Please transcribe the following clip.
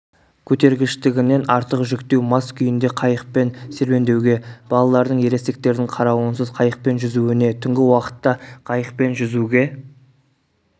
көтергіштігінен артық жүктеу мас күйінде қайықпен серуендеуге балалардың ересектердің қарауысыз қайықпен жүзуіне түнгі уақытта қайықпен жүзуге